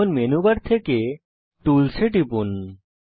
এখন menu bar থেকে tools এ টিপুন